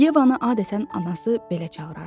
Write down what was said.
Yevanı adətən anası belə çağırardı.